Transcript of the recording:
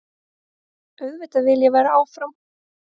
Auðvitað vil ég vera áfram.